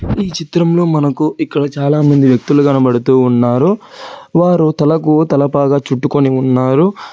ఈ చిత్రంలో మనకు ఇక్కడ చాలామంది వ్యక్తులు కనబడుతూ ఉన్నారు వారు తలకు తల పాగా చుట్టుకొని ఉన్నారు.